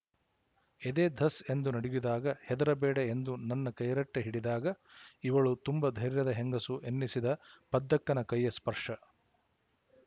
ಎದೆ ಧಸ್ ಎಂದು ನಡುಗಿದಾಗ ಹೆದರಬೇಡ ಎಂದು ನನ್ನ ಕೈರಟ್ಟೆ ಹಿಡಿದಾಗ ಇವಳು ತುಂಬ ಧೈರ್ಯದ ಹೆಂಗಸು ಎನ್ನಿಸಿದ ಪದ್ದಕ್ಕನ ಕೈಯ ಸ್ಪರ್ಶ